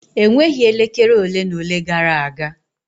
Enweghị elekere ole na ole gara aga.